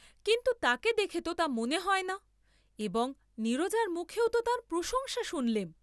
কিন্তু তাকে দেখে তো তা মনে হয় না এবং নীরজার মুখেও তো তার প্রশংসা শুনলেম।